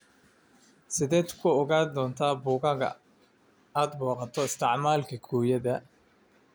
Sideed ku ogaan doontaa boggaga aad booqato isticmaal kukiyada?